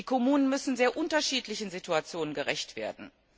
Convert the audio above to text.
Die Kommunen müssen sehr unterschiedlichen Situationen gerecht werden.